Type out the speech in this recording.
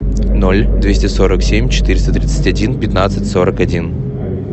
ноль двести сорок семь четыреста тридцать один пятнадцать сорок один